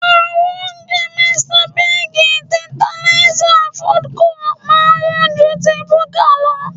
Àwọn oúnjẹ Mr Biggs, Tertanlizer, Foodco máa ń wọ́n ju ti búkà lọ